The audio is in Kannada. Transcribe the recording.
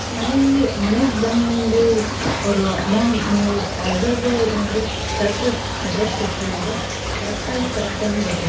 ಮನೆಲ್ಲಿ ಮನೆಗ್ ಬಂದು ಅವ್ರು amou~ ನೀವು order ಏನಾದ್ರೂ correct ಆಗಿ address ಕೋಟ್ರೀ ಅಂದ್ರ correct ಆಗಿ correct time ಗ್ ಬರ್ತೆತ್ ರಿ.